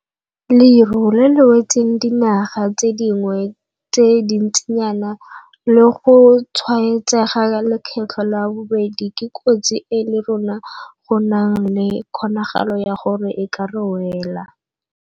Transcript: Leru le le wetseng dinaga tse dingwe tse dintsinyana la go tshwaetsega lekgetlo la bobedi ke kotsi e le rona go nang le kgonagalo ya gore e ka re wela.